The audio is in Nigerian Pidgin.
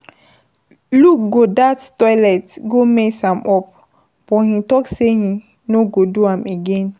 Luke go dat toilet go mess am up, but he talk say he no go do am again.